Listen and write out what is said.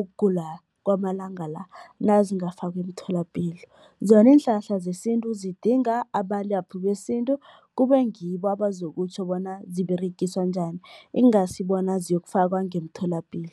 ukugula kwamalanga la nazingafakwa emtholapilo. Zona iinhlahla zesintu zidinga abalaphi besintu, kube ngibo abazokutjho bona ziberegiswa njani, ingasi bona ziyokufakwa ngemtholapilo.